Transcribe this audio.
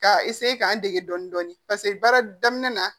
Ka k'an dege dɔɔnin dɔɔnin baara daminɛ na